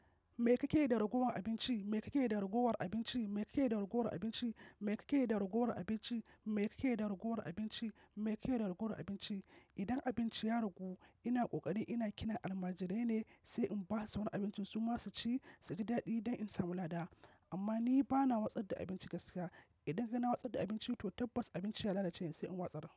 Me kake da ragowar abinci? Me kake da ragowar abinci? Me kake da ragowar abinci? Me kake da ragowar abinci? Me kake da ragowar abinci? Me kake da ragowar abinci? Idan abinci ya ragu, ina ƙoƙari ina kina almajirai ne sai in basu wani abincin su ma su ci su ji daɗi don in samu lada. Amma ni bana watsar da abinci gaskiya. Idan kaga na watsar da abinci to tabbas abincin ya lalace sai in watsa.